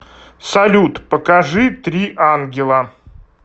салют покажи три ангела